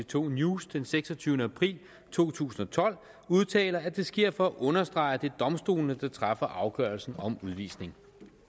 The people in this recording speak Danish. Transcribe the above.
to news den seksogtyvende april to tusind og tolv udtaler at det sker for at understrege at det er domstolene der træffer afgørelsen om udvisning